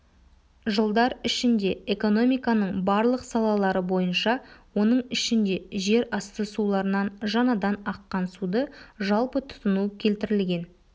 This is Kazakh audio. жылдар ішінде экономиканың барлық салалары бойынша оның ішінде жерасты суларынан жаңадан аққан суды жалпы тұтыну келтірілген